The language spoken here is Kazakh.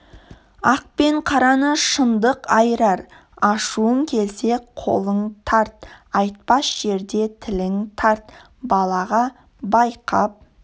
ақ пен қараны шындық айырар ашуың келсе қолың тарт айтпас жерде тілің тарт балаға байқап